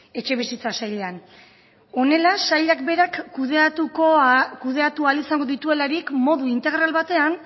etxebizitza sailean honela sailak berak kudeatu ahal izango dituelarik modu integral batean